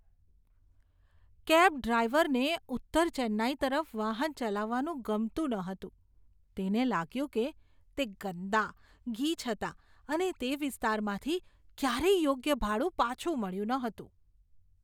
Cab ડ્રાઈવરને ઉત્તર ચેન્નાઈ તરફ વાહન ચલાવવાનું ગમતું નહોતું. તેને લાગ્યું કે તે ગંદા, ગીચ હતાં, અને તેને તે વિસ્તારમાંથી ક્યારેય યોગ્ય ભાડું પાછું મળ્યું ન હતું.